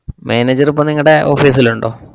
Manager ഇപ്പൊ നിങ്ങടെ office ലുണ്ടോ?